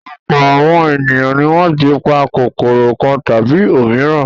Ọ̀pọ̀ àwọn ènìyàn ni wọ́n ti pa kòkòrò kan tàbí òmíràn.